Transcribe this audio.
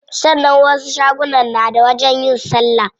Sannan wasu shagunan na da wajen yin salla.